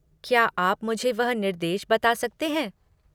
क्या आप मुझे वह निर्देश बता सकते हैं?